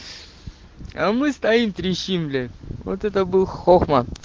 а мы стоим трещим блять вот это был хохма